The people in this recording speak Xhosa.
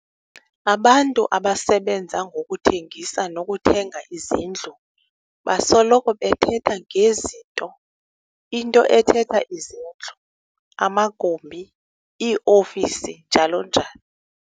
Abantu abasebenza ngokuthengisa nokuthenga izindlu basoloko bethetha nge"zinto", into ethetha izindlu, amagumbi, ii-ofisi, njalo njalo.